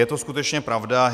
Je to skutečně pravda.